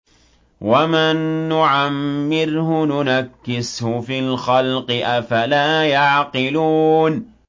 وَمَن نُّعَمِّرْهُ نُنَكِّسْهُ فِي الْخَلْقِ ۖ أَفَلَا يَعْقِلُونَ